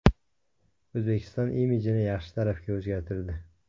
O‘zbekiston imijini yaxshi tarafga o‘zgartirdi.